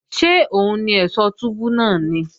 Ṣé òun ni ẹ̀ṣọ̀ túbú náà ni?